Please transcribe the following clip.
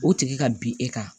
O tigi ka bin e kan